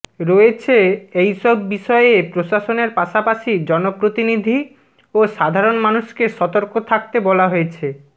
রয়েছে এইসব বিষয়ে প্রশাসনের পাশাপাশি জনপ্রতিনিধি ও সাধারণ মানুষকে সতর্ক থাকতে বলা হয়েছে